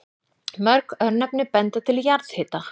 Mörg örnefni benda til jarðhita.